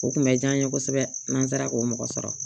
O kun bɛ diya n ye kosɛbɛ n'an sera k'o mɔgɔ sɔrɔ